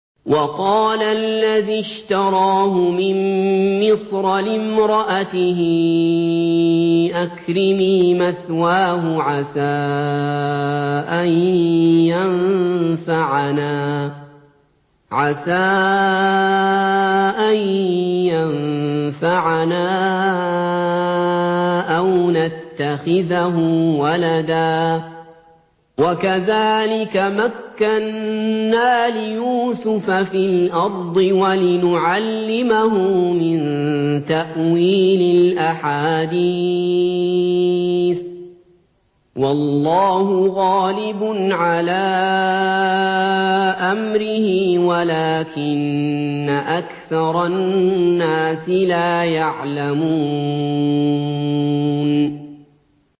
وَقَالَ الَّذِي اشْتَرَاهُ مِن مِّصْرَ لِامْرَأَتِهِ أَكْرِمِي مَثْوَاهُ عَسَىٰ أَن يَنفَعَنَا أَوْ نَتَّخِذَهُ وَلَدًا ۚ وَكَذَٰلِكَ مَكَّنَّا لِيُوسُفَ فِي الْأَرْضِ وَلِنُعَلِّمَهُ مِن تَأْوِيلِ الْأَحَادِيثِ ۚ وَاللَّهُ غَالِبٌ عَلَىٰ أَمْرِهِ وَلَٰكِنَّ أَكْثَرَ النَّاسِ لَا يَعْلَمُونَ